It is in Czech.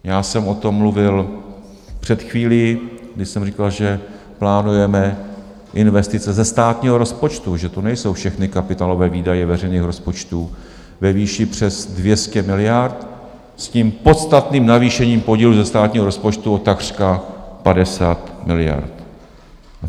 Já jsem o tom mluvil před chvílí, když jsem říkal, že plánujeme investice ze státního rozpočtu, že to nejsou všechny kapitálové výdaje veřejných rozpočtů ve výši přes 200 miliard s tím podstatným navýšením podílu ze státního rozpočtu o takřka 50 miliard.